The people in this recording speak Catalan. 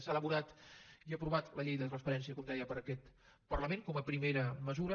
s’ha elaborat i aprovat la llei de transparència com deia per aquest parlament com a primera mesura